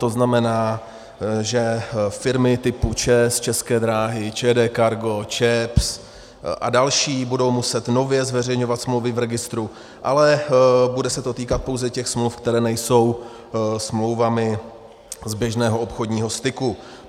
To znamená, že firmy typu ČEZ, České dráhy, ČD Cargo, ČEPS a další, budou muset nově zveřejňovat smlouvy v registru, ale bude se to týkat pouze těch smluv, které nejsou smlouvami z běžného obchodního styku.